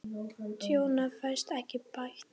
Tjónið fæst ekki bætt.